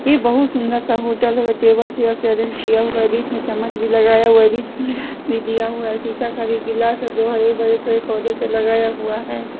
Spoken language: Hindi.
ये बहुत सुंदर सा होटल है व टेबल चेयर से अरेंज किया हुआ बीच में चम्मच भी लगाया हुआ है बीच में भी दिया हुआ है शीशा का भी गिलास जो हरे भरे पेड़ पौधे से लगाया हुआ हैं।